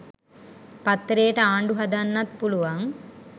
පත්තරේට ආණ්ඩු හදන්නත් පුළුවන්